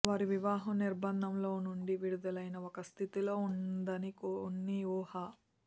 వారి వివాహం నిర్బంధంలో నుండి విడుదలైన ఒక స్థితిలో ఉందని కొన్ని ఊహ